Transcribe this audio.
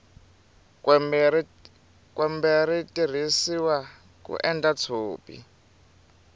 kwembe ri tirhisiwa ku endla tshopi